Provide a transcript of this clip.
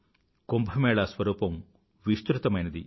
కుంభ మేళా స్వరూపం విస్తృతమైనది